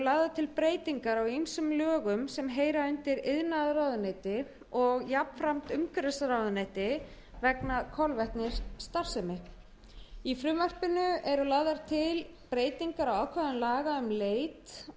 lagðar til breytingar á ýmsum lögum sem heyra undir iðnaðarráðuneyti og jafnframt umhverfisráðuneyti vegna kolvetnisstarfsemi í frumvarpinu eru lagðar til breytingar á ákvæðum laga um leit